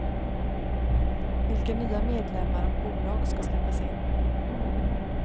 Vilka nya medlemmar och bolag ska släppas in?